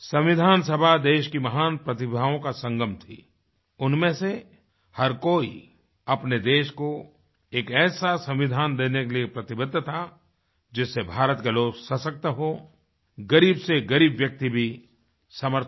संविधान सभा देश की महान प्रतिभाओं का संगम थी उनमें से हर कोई अपने देश को एक ऐसा संविधान देने के लिए प्रतिबद्ध था जिससे भारत के लोग सशक्त हों ग़रीब से ग़रीब व्यक्ति भी समर्थ बने